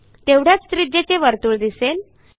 तेवढ्याच त्रिज्येचे वर्तुळ दिसेल